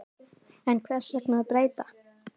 En hvers vegna að breyta?